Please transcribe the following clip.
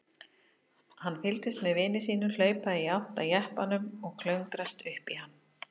Hann fylgdist með vini sínum hlaupa í átt að jeppanum og klöngrast upp í hann.